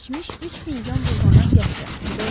Az keçmiş üç fincan buğlanan qəhvə.